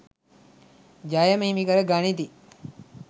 ජය ම හිමි කර ගනිති.